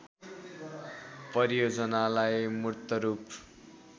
परियोजनालाई मूर्त रूप